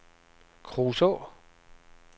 Kruså